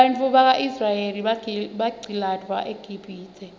bantfwana baka israel baqcilatwa eqibhitue